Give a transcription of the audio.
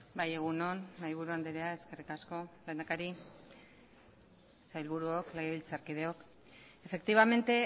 bai egun on mahaiburu andrea eskerrik asko lehendakari sailburuok legebiltzarkideok efectivamente